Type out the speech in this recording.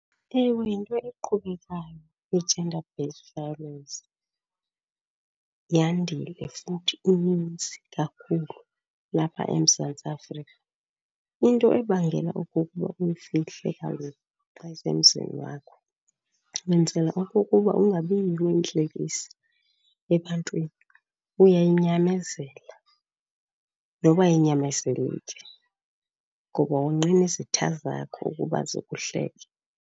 Ewe, yinto iqhubekayo i-gender based violence. Yandile futhi ininzi kakhulu lapha eMzantsi Afrika. Into ebangela okokuba uyifihle kaloku xa isemzini wakho, wenzela okokuba ungabiyiyo intlekisa ebantwini. Uyayinyamezela noba ayinyamezeleki ngoba wonqena izitha zakho ukuba zikuhleke.